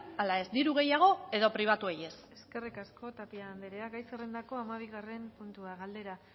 ala ez diru gehiago edo pribatuei ez eskerrik asko tapia anderea gai zerrendako hamabigarren puntua galdera